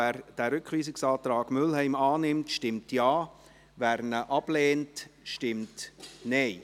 Wer den Rückweisungsantrag Mühlheim annimmt, stimmt Ja, wer diesen ablehnt, stimmt Nein.